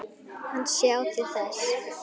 Hann sjái til þess.